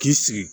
K'i sigi